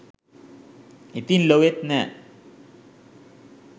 ඉතින් ලොවෙත් නෑ.